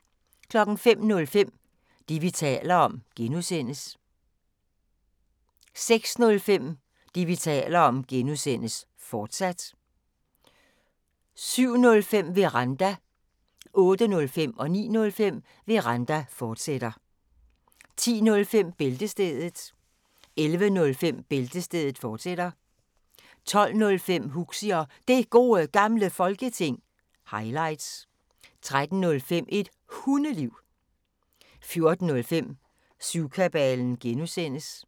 05:05: Det, vi taler om (G) 06:05: Det, vi taler om (G), fortsat 07:05: Veranda 08:05: Veranda, fortsat 09:05: Veranda, fortsat 10:05: Bæltestedet 11:05: Bæltestedet, fortsat 12:05: Huxi og Det Gode Gamle Folketing – highlights 13:05: Et Hundeliv 14:05: Syvkabalen (G)